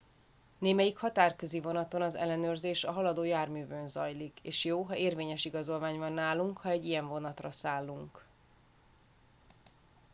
némelyik határközi vonaton az ellenőrzés a haladó járművön zajlik és jó ha érvényes igazolvány van nálunk ha egy ilyen vonatra szállunk